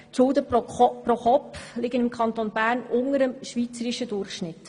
Die Schulden pro Kopf liegen im Kanton Bern unter dem Schweizer Durchschnitt.